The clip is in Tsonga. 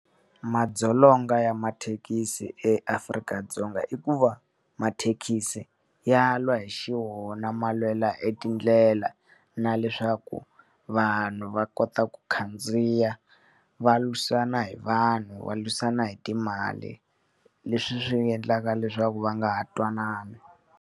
Madzolonga ya mathekisi eAfrika-Dzonga i ku va mathekisi ya lwa hi xiwona ma lwela e tindlela, na leswaku vanhu va kota ku khandziya, va lwisana hi vanhu va lwisana hi timali leswi swi endlaka leswaku va nga ha twanani.